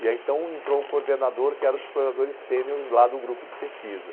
E aí então entrou um coordenador que era um dos coordenadores sêniores lá do grupo de pesquisa.